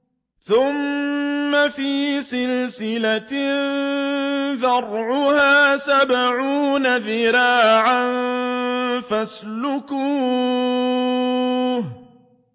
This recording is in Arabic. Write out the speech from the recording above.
ثُمَّ فِي سِلْسِلَةٍ ذَرْعُهَا سَبْعُونَ ذِرَاعًا فَاسْلُكُوهُ